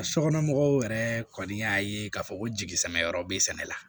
Sokɔnɔmɔgɔw yɛrɛ kɔni y'a ye k'a fɔ ko jigi sɛbɛ yɔrɔ be sɛnɛ la